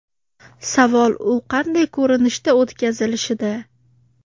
Savol u qanday ko‘rinishda o‘tkazilishida.